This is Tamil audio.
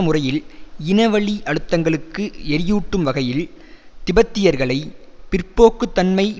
முறையில் இனவழி அழுத்தங்களுக்கு எரியூட்டும் வகையில் திபெத்தியர்களை பிற்போக்குத்தன்மை